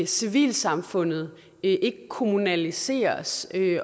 civilsamfundet ikke kommunaliseres